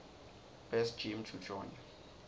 best gym to join